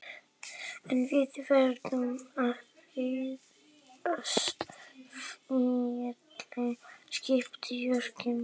En við verðum að eignast fleiri skip Jónki minn.